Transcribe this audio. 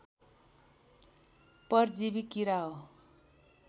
परजीवि किरा हो